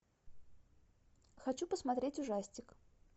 хочу посмотреть ужастик